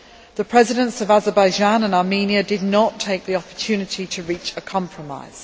The Presidents of Azerbaijan and Armenia did not take the opportunity to reach a compromise.